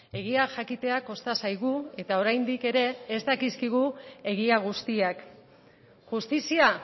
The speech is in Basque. egia jakitea kosta zaigu eta oraindik ere ez dakizkigu egia guztiak justizia